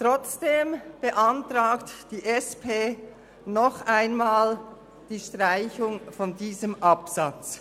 Trotzdem beantragt die SP-JUSO-PSA noch einmal die Streichung dieses Absatzes.